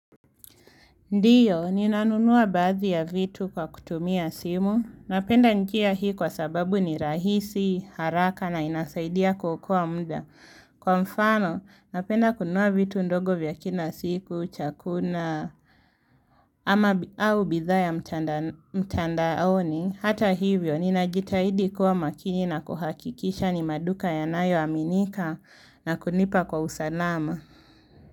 Ndiyo, ninanunua baadhi ya vitu kwa kutumia simu, napenda njia hii kwa sababu ni rahisi, haraka na inasaidia kuokoa muda. Kwa mfano, napenda kununua vitu ndogo vya kila siku, chakula, ama au bidhaa ya mtandaoni, hata hivyo, ninajitahidi kuwa makini na kuhakikisha ni maduka yanayoaminika na kunipa kwa usalama.